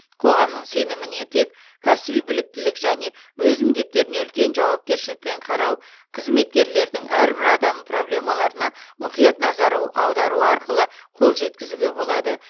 қоғамның сеніміне тек кәсіби біліктілік және өз міндеттеріне үлкен жауапкершілікпен қарау қызметкерлердің әрбір адамның проблемаларына мұқият назар аудару арқылы ғана қол жеткізуге болады